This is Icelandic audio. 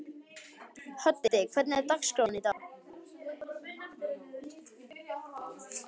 Höddi, hvernig er dagskráin í dag?